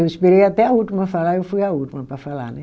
Eu esperei até a última falar e eu fui a última para falar né.